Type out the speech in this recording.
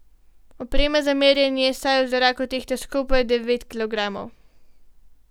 Oprema za merjenje saj v zraku tehta skupaj devet kilogramov.